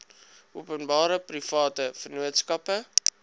openbare private vennootskappe